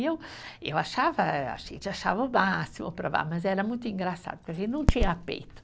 E eu, eu achava, a gente achava o máximo provar, mas era muito engraçado, porque a gente não tinha peito.